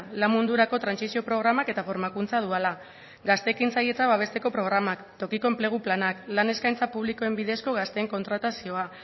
lan mundurako trantsizio programak eta formakuntza duala gazte ekintzailetza babesteko programak tokiko enplegu planak lan eskaintza publikoen bidezko gazteen kontratazioa